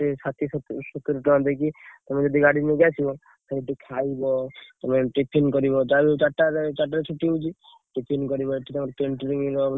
ଷାଠିଏ ସତୁରୀ ଟଙ୍କା cycle ରେ ଆସିଲେ ତମର ଷାଠିଏ ସତୁରୀ ଟଙ୍କା ଦେଇକି ତମେ ଯଦି ଗାଡି ନେଇକି ଆସିବ ତମେ ଏଠି ଖାଇବ ତମେ tiffin କରିବ ଯାହା ବି ହେଲେ ଚାରି ଟା ଚାର ଟା ରେ ଛୁଟି ହଉଛି tiffin କରିବ ଏଠି ଆମର କେନଟିଂ ରେ।